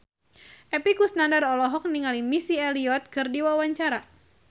Epy Kusnandar olohok ningali Missy Elliott keur diwawancara